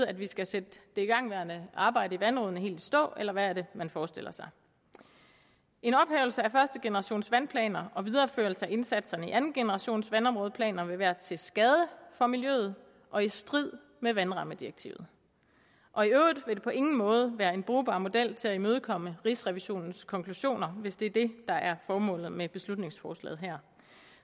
at vi skal sætte det igangværende arbejde i vandrådene helt i stå eller hvad er det man forestiller sig en ophævelse af første generations vandplaner og videreførelse af indsatserne i anden generations vandområdeplaner vil være til skade for miljøet og i strid med vandrammedirektivet og i øvrigt vil det på ingen måde være en brugbar model i forhold til at imødekomme rigsrevisionens konklusioner hvis det er det der er formålet med beslutningsforslaget her